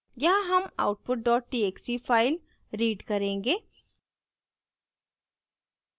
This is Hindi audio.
यहाँ हम output dot txt file read करेंगे